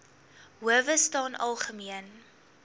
howe staan algemeen